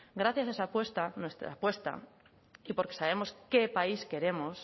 gracias a esa apuesta nuestra apuesta y porque sabemos qué país queremos